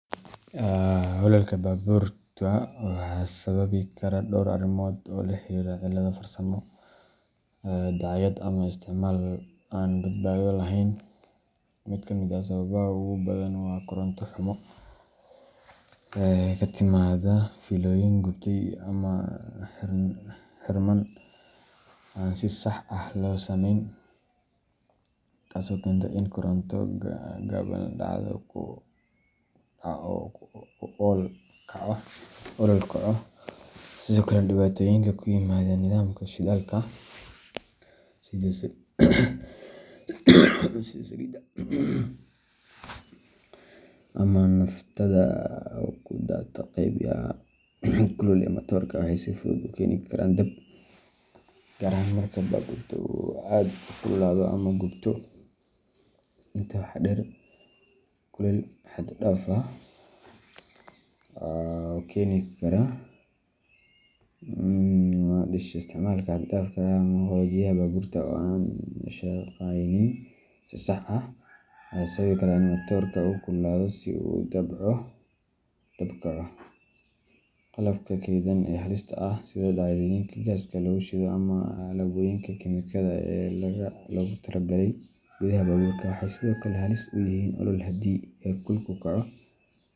Ololka baabuurta waxaa sababi kara dhowr arrimood oo la xiriira cilado farsamo, dayacaad, ama isticmaal aan badbaado lahayn. Mid ka mid ah sababaha ugu badan waa koronto xumo ka timaadda fiilooyin gubtay ama xirmaan aan si sax ah loo samayn, taasoo keenta in koronto gaaban dhacdo oo uu olol kaco. Sidoo kale, dhibaatooyinka ku yimaada nidaamka shidaalka sida saliidda ama naaftada oo ku daata qeybaha kulul ee matoorka waxay si fudud u keeni karaan dab, gaar ahaan marka baabuurka uu aad u kululaado ama gubto. Intaa waxaa dheer, kulaylka xad-dhaafka ah ee ka dhasha isticmaalka xad-dhaafka ah ama qaboojiyaha baabuurta oo aan shaqaynin si sax ah, ayaa sababi kara in matoorka uu kululaado ilaa uu dab kaco. Qalabka kaydsan ee halista ah, sida dhalooyinka gaaska lagu shido ama alaabooyinka kiimikada ah ee laga tago gudaha baabuurka, waxay sidoo kale halis u yihiin olol haddii heerkulku kaco.